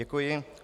Děkuji.